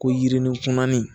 Ko yirinikunnan in